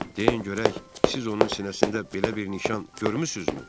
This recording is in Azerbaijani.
Deyin görək, siz onun sinəsində belə bir nişan görmüsünüzmü?